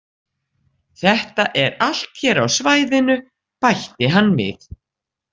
Þetta er allt hér á svæðinu, bætti hann við.